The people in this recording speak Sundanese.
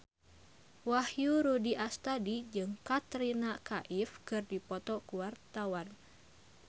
Wahyu Rudi Astadi jeung Katrina Kaif keur dipoto ku wartawan